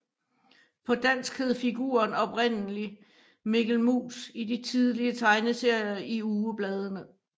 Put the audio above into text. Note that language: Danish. På dansk hed figuren oprindelig Mikkel Mus i de tidlige tegneserier i ugebladene